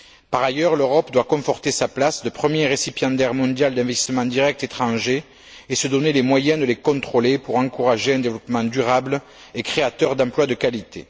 Par ailleurs, l'Europe doit conforter sa place de premier récipiendaire mondial d'investissements directs étrangers et se donner les moyens de les contrôler pour encourager un développement durable et créateur d'emplois de qualité.